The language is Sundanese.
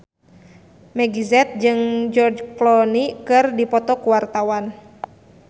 Meggie Z jeung George Clooney keur dipoto ku wartawan